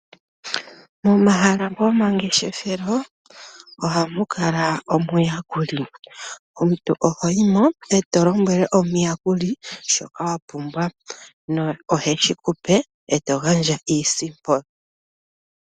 Momahala gomangefeshelo ohamu kala omuyakuli omuntu ohoyi mo eto lombwele omuyakuli shoka wapumbwa no oheshi kupe eto gandja iisimpo.